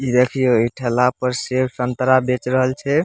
ई देखियो ई ठेला पर सेब संतरा बेच रहल छे।